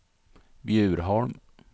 Bjurholm